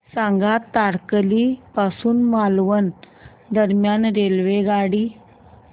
सांगा तारकर्ली पासून मालवण दरम्यान रेल्वेगाडी